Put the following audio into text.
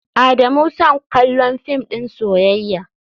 Adamu son kallon film din soyayya.